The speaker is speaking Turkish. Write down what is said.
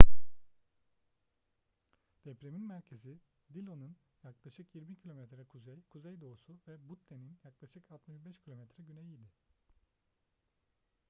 depremin merkezi dillon'ın yaklaşık 20 km kuzey-kuzeydoğusu ve butte'nin yaklaşık 65 km güneyiydi